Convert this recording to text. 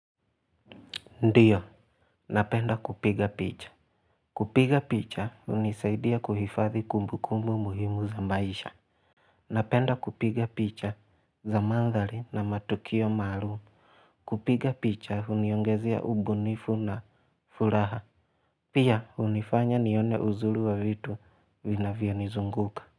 Ndiyo napenda kupiga picha kupiga picha hunisaidia kuhifadhi kumbu kumbu muhimu za maisha napenda kupiga picha za mandhari na matukio maalum kupiga picha huniongezea ubunifu na furaha pia hunifanya nione uzuri wa vitu vina vyo nizunguka.